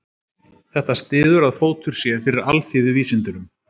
Þetta styður að fótur sé fyrir alþýðuvísindunum.